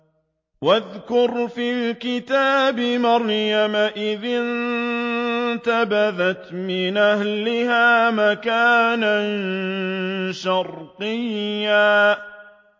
وَاذْكُرْ فِي الْكِتَابِ مَرْيَمَ إِذِ انتَبَذَتْ مِنْ أَهْلِهَا مَكَانًا شَرْقِيًّا